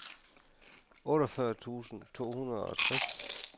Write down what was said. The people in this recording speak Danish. otteogfyrre tusind to hundrede og tres